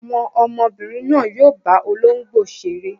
Àwọn ọmọbìnrin náà yóò bá olóńgbò ṣeré.